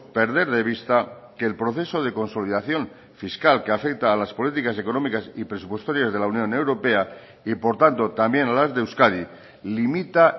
perder de vista que el proceso de consolidación fiscal que afecta a las políticas económicas y presupuestarias de la unión europea y por tanto también a las de euskadi limita